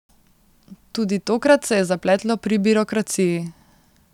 Tudi tokrat se je zapletlo pri birokraciji.